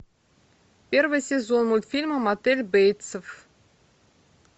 первый сезон мультфильма мотель бейтсов